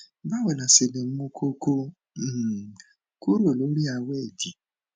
báwo la ṣe lè mú koko um kúrò lórí awe idì